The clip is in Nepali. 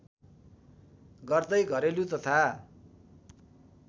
गर्दै घरेलु तथा